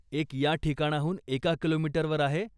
एक या ठिकाणाहून एका किलोमीटरवर आहे.